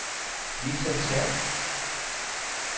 Vita Terp